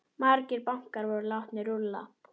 Margir bankar voru látnir rúlla.